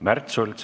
Märt Sults.